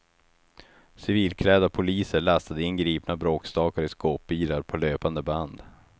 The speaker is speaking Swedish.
Civilklädda poliser lastade in gripna bråkstakar i skåpbilar på löpande band.